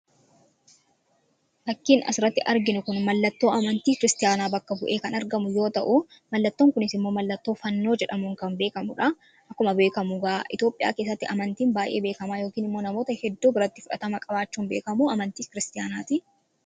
Fakkiin asirratti arginu kun mallattoo amantii kiristiyaanaa bakka bu'ee kan argamu yoo ta'u mallattoon kunis immoo mallattoo fannoo jedhamuun kan beekamudha. Akkuma beekamu ga'a itophiyaa keessatti amantiin baay'ee beekamaa yookiin immoo namoota hedduu biratti fudhatama qabaachuun beekamu amantii kiristiyaanaa ti.